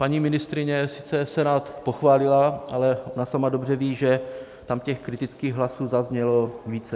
Paní ministryně sice Senát pochválila, ale ona sama dobře ví, že tam těch kritických hlasů zaznělo více.